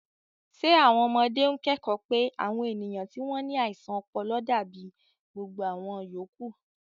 Ṣé àwọn ọmọdé ń kẹ́kọ̀ọ́ pé àwọn ènìyàn tí wọ́n ní àìsàn ọpọlọ dàbí gbogbo àwọn yòókù?